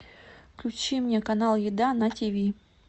включи мне канал еда на ти ви